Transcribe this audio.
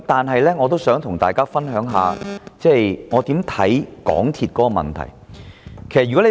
可是，我仍想與大家分享一下我對港鐵公司問題的看法。